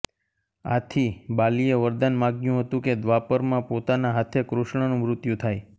આથી બાલીએ વરદાન માગ્યું હતું કે દ્વાપરમાં પોતાના હાથે કૃષ્ણનું મૃત્યુ થાય